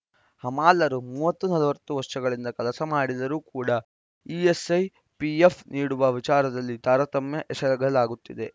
ಹಮಾಲರು ಮೂವತ್ತು ನಲವತ್ತು ವರ್ಷಗಳಿಂದ ಕೆಲಸ ಮಾಡಿದರೂ ಕೂಡ ಇಎಸ್‌ಐ ಪಿಎಫ್‌ ನೀಡುವ ವಿಚಾರದಲ್ಲಿ ತಾರತಮ್ಯ ಎಸಗಲಾಗುತ್ತಿದೆ